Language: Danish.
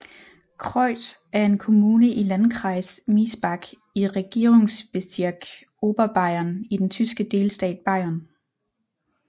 Kreuth er en kommune i Landkreis Miesbach i Regierungsbezirk Oberbayern i den tyske delstat Bayern